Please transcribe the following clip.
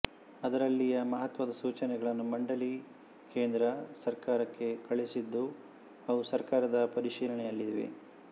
ಅದರಲ್ಲಿಯ ಮಹತ್ವದ ಸೂಚನೆಗಳನ್ನು ಮಂಡಲಿ ಕೇಂದ್ರ ಸರ್ಕಾರಕ್ಕೆ ಕಳುಹಿಸಿದ್ದು ಅವು ಸರ್ಕಾರದ ಪರಿಶೀಲನೆಯಲ್ಲಿವೆ